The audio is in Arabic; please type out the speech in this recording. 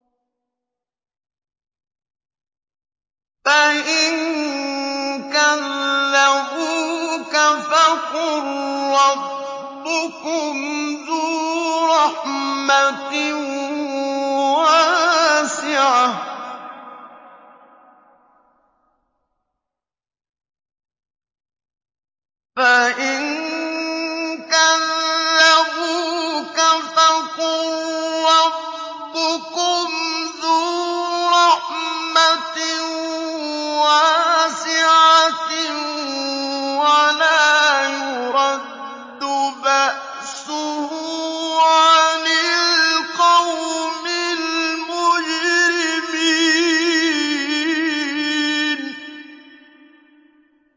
فَإِن كَذَّبُوكَ فَقُل رَّبُّكُمْ ذُو رَحْمَةٍ وَاسِعَةٍ وَلَا يُرَدُّ بَأْسُهُ عَنِ الْقَوْمِ الْمُجْرِمِينَ